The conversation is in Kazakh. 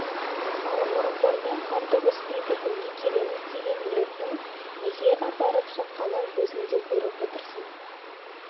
ал орынбормен қан төгіспей бітімге келеміз деген ниеттің неге апарып соққанын өзің де көріп отырсың